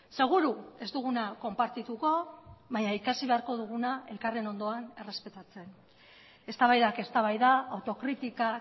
seguru ez duguna konpartituko baina ikasi beharko duguna elkarren ondoan errespetatzen eztabaidak eztabaida autokritika